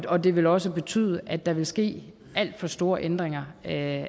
og det vil også betyde at der vil ske alt for store ændringer af